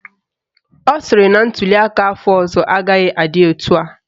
Ọ sịrị na ntuliaka afọ ọzọ agaghị adị etu a